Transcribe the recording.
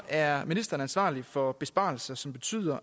er ministeren ansvarlig for besparelser som betyder